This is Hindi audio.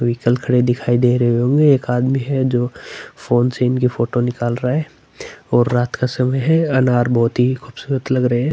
व्हीकल खड़े हुए दिख रहे होंगे एक आदमी है जो फ़ोन से इनके फोटो निकाल रहा है और रात का समय है अनार बहोत ही खूबसूरत लगे रहे है।